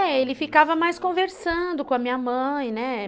É, ele ficava mais conversando com a minha mãe, né.